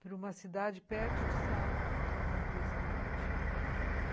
para uma cidade perto de Seattle, fazer universidade.